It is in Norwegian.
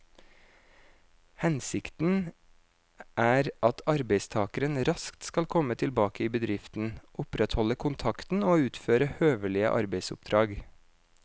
Hensikten er at arbeidstakeren raskt skal komme tilbake i bedriften, opprettholde kontakten og utføre høvelige arbeidsoppdrag.